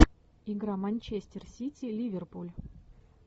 игра манчестер сити ливерпуль